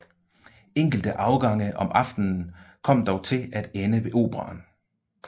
Enkelte afgange om aftenen kom dog til at ende ved Operaen